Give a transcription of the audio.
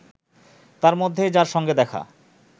তার মধ্যেই যার সঙ্গে দেখা